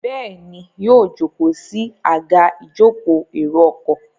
Béèni yíò joko sí Àga ìjókòó èrò ọkọ̀.